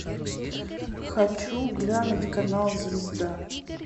хочу глянуть канал звезда